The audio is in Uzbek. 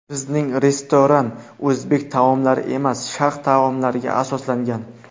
Bizning restoran o‘zbek taomlari emas, Sharq taomlariga asoslangan.